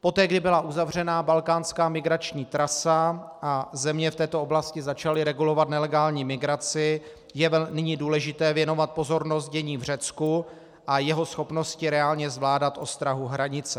Poté kdy byla uzavřena balkánská migrační trasa a země v této oblasti začaly regulovat nelegální migraci, je nyní důležité věnovat pozornost dění v Řecku a jeho schopnosti reálně zvládat ostrahu hranice.